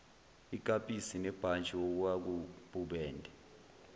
ikapisi nebhantshi okwakububende